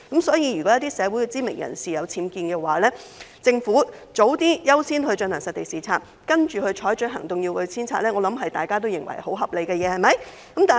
所以，如果一些社會知名人士的住所有僭建物，政府盡早優先進行實地視察，然後採取行動，要求遷拆，相信大家都認為是合理的做法。